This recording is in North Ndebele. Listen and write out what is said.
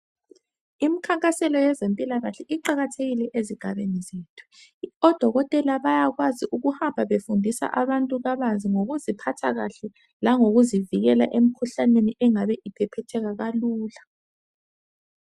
Imikhankaselo yezempilakahle, iqakathekile ezigabeni zethu. Odokotela bayakwazi ukuhamba befundisa abantu kabanzi, ngokuziphatha kahle. Langokuzivikela emikhuhlane, engabe iphephetheka kalula.